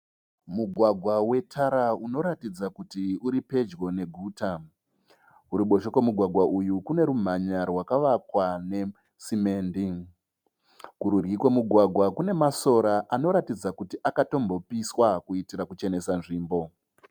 Mugwagwa wetara unoratidza kuti uripedyo neguta. Kuruboshwe kwemugwagwa uyu kune rumhanya rwakavakwa nesimendi. Kurudyi kwemugwagwa kunemasora anoratidza kuti akatombopiswa kuitira kuchenesa nzvimbo.